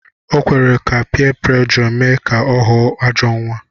O kwere ka piyé puréjò mee ka ọ ghọọ ajọọ nwa